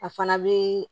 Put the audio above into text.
A fana bɛ